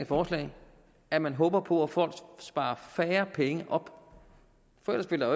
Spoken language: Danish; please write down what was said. forslag at man håber på at folk sparer færre penge op for ellers ville